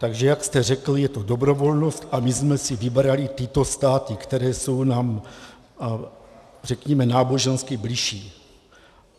Takže jak jste řekl, je to dobrovolnost a my jsme si vybrali tyto státy, které jsou nám řekněme nábožensky bližší.